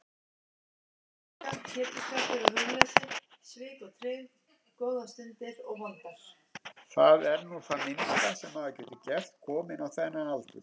Það er nú það minnsta sem maður getur gert, kominn á þennan aldur.